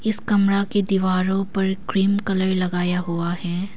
इस कमरा की दीवारों पर क्रीम कलर लगाया हुआ है।